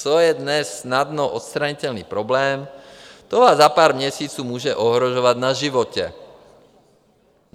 Co je dnes snadno odstranitelný problém, to vás za pár měsíců může ohrožovat na životě.